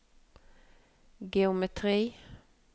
geometri